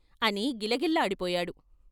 " అని గిలగిల్లాడిపోయాడు.